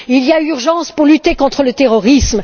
Il y a urgence à lutter contre le terrorisme.